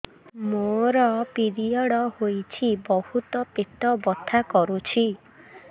ମୋର ପିରିଅଡ଼ ହୋଇଛି ବହୁତ ପେଟ ବଥା କରୁଛି